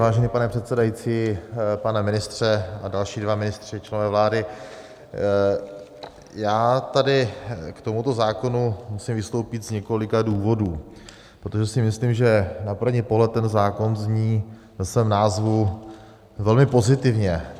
Vážený pane předsedající, pane ministře a další dva ministři, členové vlády, já tady k tomuto zákonu musím vystoupit z několika důvodů, protože si myslím, že na první pohled ten zákon zní ve svém názvu velmi pozitivně.